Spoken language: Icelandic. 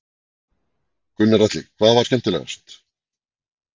Gunnar Atli: Hvað var skemmtilegast?